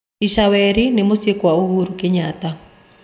Ichaweri ni muciĩ kwa Uhuru Kenyatta